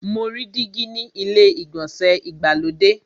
Mo rí dígí ni ilé ìgbọ̀nsẹ̀ ìgbàlódé.